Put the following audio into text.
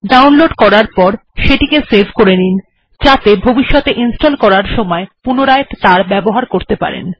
download করার পর এটিকে সেভ করে নিন যাতে ভবিষ্যতে ইনস্টল করার সময় পুনরায় এর ব্যবহার করতে পারেন